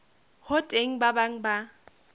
ho teng ba bang ba